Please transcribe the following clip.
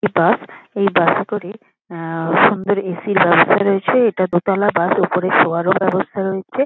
এ bus এই bus -এ করে আ সুন্দর এ.সি. বাস দাঁড়িয়েছে। এটা দোতলা বাস ওপরে শোয়ারও ব্যবস্থা রয়েছে।